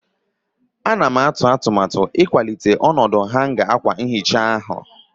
Ana m atụ atụmatụ ịkwalite ọnọdụ hanga akwa nhicha ahụ.